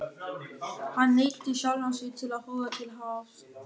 Hann neyddi sjálfan sig til að horfa til hafs.